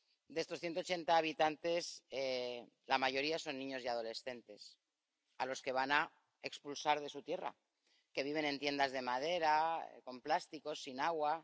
De estos 180 habitantes, la mayoría son niños y adolescentes a los que van a expulsar de su tierra, que viven en tiendas de madera, con plásticos, sin agua...